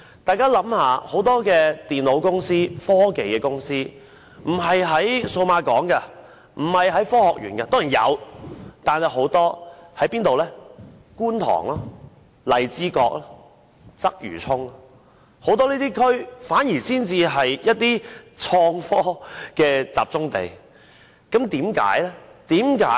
大家試想，很多電腦及科技公司並非設在數碼港或科學園——當然也是有的——但很多均位於觀塘、荔枝角及鰂魚涌，這些地區反而是創科的集中地，為何會這樣？